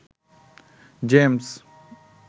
James